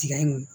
Tiga in